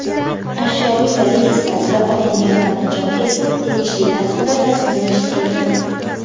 Ashyoviy dalil sifatida olingan taqinchoq esa tegishli tartibda rasmiylashtirilgan.